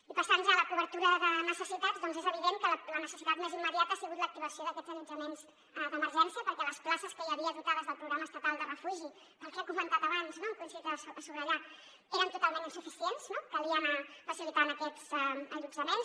i passant ja a la cobertura de necessitats és evident que la necessitat més immediata ha sigut l’activació d’aquests allotjaments d’emergència perquè les places que hi havia dotades del programa estatal de refugi pel que hem comentat abans no que hem coincidit a subratllar ho eren totalment insuficients calia anar facilitant aquests allotjaments